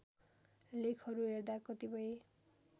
लेखहरू हेर्दा कतिपय